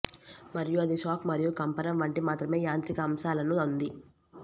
మరియు అది షాక్ మరియు కంపనం వంటి మాత్రమే యాంత్రిక అంశాలను ఉంది